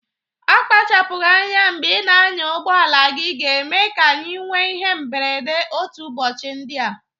Akpachapụgị anya mbe ị na-anya ụgbọala gị ga-eme ka anyị nwe ihe mberede otu ụbọchị ndịa.